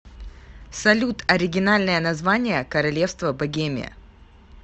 салют оригинальное название королевство богемия